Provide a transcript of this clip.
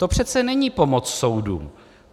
To přece není pomoc soudům.